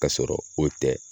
K'a sɔrɔ o tɛ